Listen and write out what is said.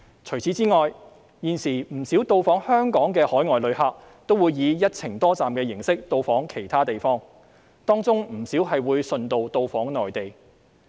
除此之外，現時不少到訪香港的海外旅客會以"一程多站"形式到訪其他地方，當中不少會順道到訪內地。